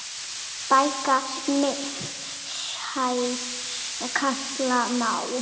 Bakka mishæð kalla má.